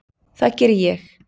Það geri ég.